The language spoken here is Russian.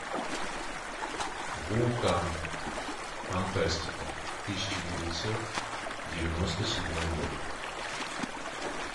вулкан фантастика тысяча девятьсот девяносто седьмой год